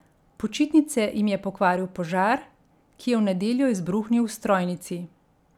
Počitnice jim je pokvaril požar, ki je v nedeljo izbruhnil v strojnici.